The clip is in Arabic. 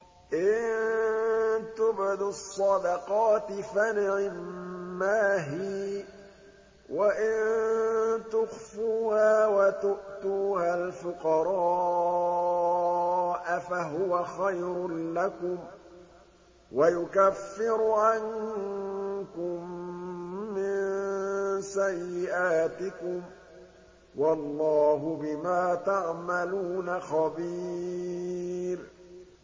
إِن تُبْدُوا الصَّدَقَاتِ فَنِعِمَّا هِيَ ۖ وَإِن تُخْفُوهَا وَتُؤْتُوهَا الْفُقَرَاءَ فَهُوَ خَيْرٌ لَّكُمْ ۚ وَيُكَفِّرُ عَنكُم مِّن سَيِّئَاتِكُمْ ۗ وَاللَّهُ بِمَا تَعْمَلُونَ خَبِيرٌ